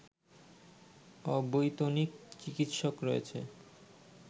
অবৈতনিক চিকিৎসক রয়েছে